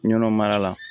Nɔnɔ mara la